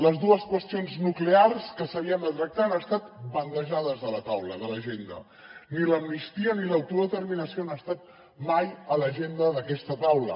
les dues qüestions nuclears que s’havien de tractar han estat bandejades de la taula de l’agenda ni l’amnistia ni l’autodeterminació han estat mai a l’agenda d’aquesta taula